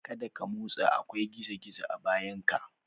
Kada ka motsa! akwai gizo-gizo a bayanka.